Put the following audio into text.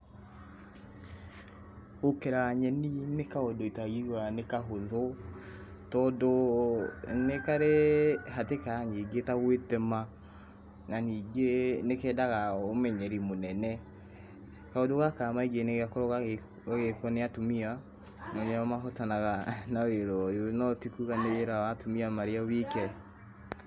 Gũkera nyeni nĩ kaũndũ itangiuga nĩ kahũthũ tondũ nĩ karĩ hatĩka nyingĩ ta gwĩtema na ningĩ nĩ kendaga ũmenyeri mũnene. Kaũndũ gaka maingĩ nĩ gakoragwo gagĩkwo nĩ atumia na nĩo mahotanaga na wĩra ũyũ, no tikuga nĩ wĩra wa atumia marĩ o wike.